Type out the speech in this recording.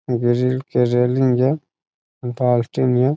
Grill के railing जे नियर।